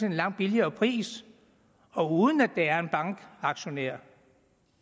en langt billigere pris og uden at der er en bankaktionær